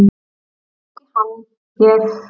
En ekki hann ég!